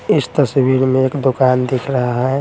इस तस्वीर में एक दुकान दिख रहा है।